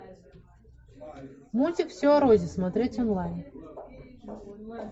мультик все о розе смотреть онлайн